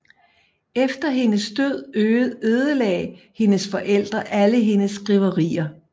Efter hendes død ødelagde hendes forældre alle hendes skriverier